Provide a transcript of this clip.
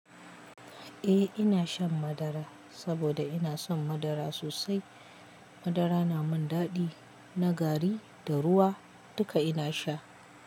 Eh ina shan madara saboda ina son madara sosai. Madara na mun daɗi na gari da ruwa dukka ina sha.